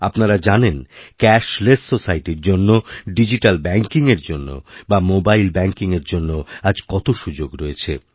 আপনারা জানেন ক্যাশলেস সোসাইটির জন্য ডিজিট্যাল ব্যাঙ্কিংএরজন্য বা মোবাইল ব্যাঙ্কিংএর জন্য আজ কত সুযোগ রয়েছে